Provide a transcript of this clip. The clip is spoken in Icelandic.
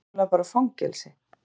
Þetta var náttúrlega bara fangelsi.